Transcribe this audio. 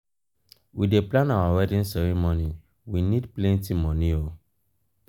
we dey plan our wedding ceremony we need plenty moni o.